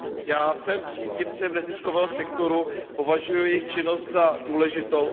Já jsem příznivcem neziskového sektoru, považuji jejich činnost za důležitou.